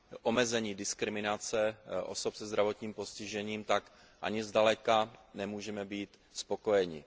omezení diskriminace osob se zdravotním postižením, tak ani zdaleka nemůžeme být spokojeni.